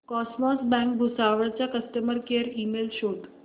cosmos bank Bhusawal चा customer care email शोध